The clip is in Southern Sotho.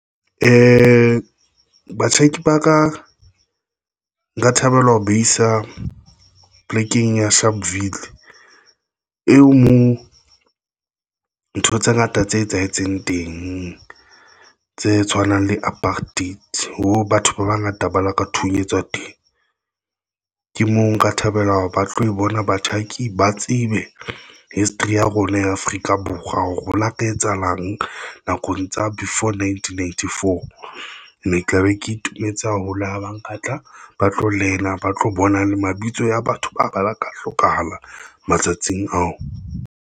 Ee, batjhaki ba ka nka thabela ho baisa plekeng ya Sharpville eo moo ntho tse ngata tse etsahetseng teng tse tshwanang le apartheid ho batho ba bangata ba laka thunyetswa teng, ke moo nka thabela hore ba tlo bona batjhaki ba tsebe history ya rona ya Afrika Borwa ho like etsa ulung eng nakong tsa before nineteen ninety four. Mme e tla be ke itumetse haholo ha ba nka batla ba tlo lena, ba tlo bona le mabitso a batho ba bala Ka hlokahala matsatsing ao.